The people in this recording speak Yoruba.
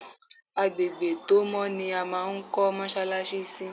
Agbègbè tó mọ́ ni a máa ń kọ́ mọ́ṣáláṣí sí.